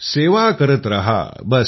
सेवा करत राहा बस